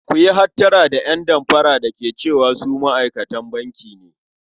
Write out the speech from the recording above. Ku yi hattara da ƴan damfara da ke cewa su ma'aikatan banki ne.